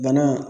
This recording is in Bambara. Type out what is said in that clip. Bana